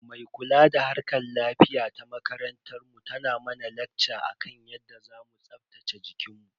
Mai kula da harkar lafiya ta makarantar mu tana mana lakca akan yadda zamu tsaftace jikinmu.